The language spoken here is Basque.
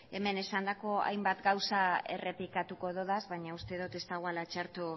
ere hemen esandako hainbat gauza errepikatuko dudaz baina uste dut ez dagoela txarto